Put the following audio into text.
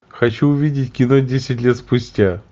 хочу увидеть кино десять лет спустя